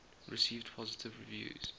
received positive reviews